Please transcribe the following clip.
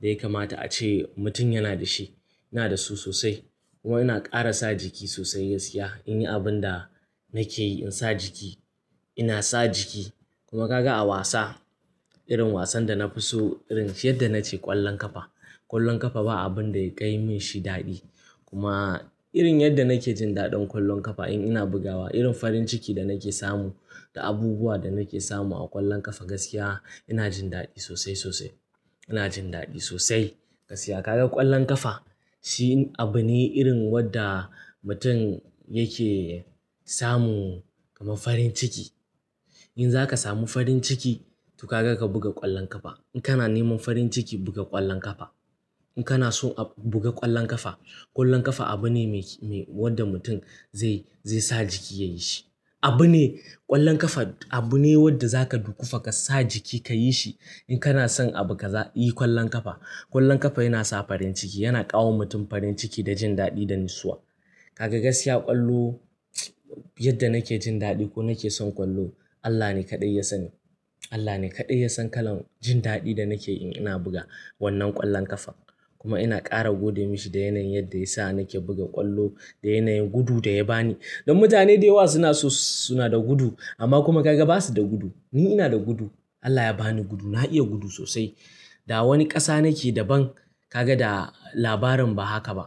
da ya kamata ace mutum yana da shi. Ina da su sosai. Kuma ina ƙara sa jiki sosai gaskiya in yi abin da nake yi in sa jiki. Ina sa jiki. Kuma ka ga a wasa irin wasan da na fi so irin yadda na ce ƙwallon ƙafa. Ƙwallon ƙafa ba abin da ya kai min shi daɗi. Kuma irin yadda nake jin daɗin ƙwallon ƙafa in ina bugawa irin farin ciki da nake samu da abubuwa da nake samu a ƙwallon ƙafa gaskiya ina jin daɗi sosai sosai. Ina jin daɗi sosai. Gaskiya ka ga ƙwallon ƙafa shi abu ne irin wadda mutum yake samu kamar farin ciki. In za ka samu farin ciki to ka ga ka buga ƙwallon ƙafa. In kana neman farin ciki buga ƙwallon ƙafa. In kana so a buga ƙwallon ƙafa, ƙwallon ƙafa abu ne me, wadda mutum zai, zai sa jiki ya yi shi. Abu ne ƙwallon ƙafa abu ne wadda za ka dukufa ka sa jiki ka yi shi. In kana son abu ka yi ƙwallon ƙafa. Ƙwallon ƙafa yana sa farin ciki yana ƙawa mutum farin ciki da jin daɗi da nisuwa. Ka ga gaskiya ƙwallo yadda nake jin daɗi ko nake son ƙwallo Allah ne kaɗai ya sani. Allah ne kaɗai ya san kalan jin daɗi da nake yi in ina buga wannan ƙwallon ƙafa. Kuma ina ƙara gode masa da yanayin yadda ya sa nake buga ƙwallo da yanayin gudu da ya ba ni. Don mutane da yawa suna so suna da gudu amma kuma ka ga ba su da gudu. Ni ina da gudu. Allah ya ba ni gudu na iya gudu sosai. Da wani ƙasa nake da ban ka ga da labarin ba haka ba.